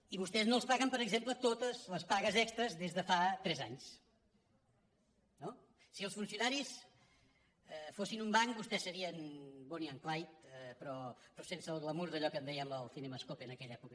i vostès no els paguen per exemple totes les pagues extres des de fa tres anys no si els funciona·ris fossin un banc vostès serien bonnie and clyde pe·rò sense el glamur d’allò que en dèiem el cinemascop d’aquella època